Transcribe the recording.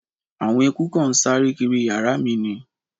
Àwọn eeku kan ń sáré kiri yàrá mi ni